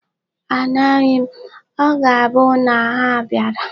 Amaghi m. O ga-abu na ha bịara.